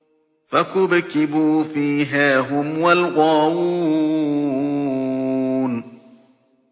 فَكُبْكِبُوا فِيهَا هُمْ وَالْغَاوُونَ